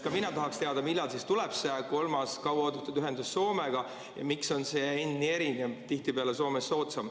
Ka mina tahaksin teada, millal siis tuleb see kolmas kauaoodatud ühendus Soomega ja miks on see hind nii erinev ja tihtipeale Soomes soodsam.